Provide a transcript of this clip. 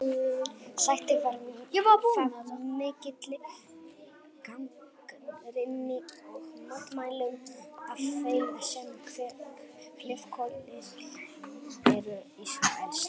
Sætti það mikilli gagnrýni og mótmælum af þeim sem hliðhollir eru Ísraelsríki.